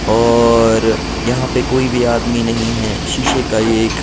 औऔर यहाँ पे कोई भी आदमी नही हैं शीशे का ये एक--